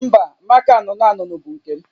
Mba, maka anụnụ anụnụ bụ nke m